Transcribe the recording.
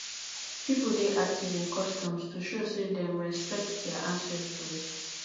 pipo dey active in customs to show say dem respekt dia ancestors